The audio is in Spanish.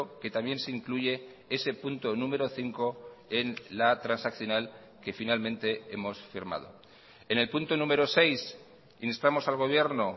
que también se incluye ese punto número cinco en la transaccional que finalmente hemos firmado en el punto número seis instamos al gobierno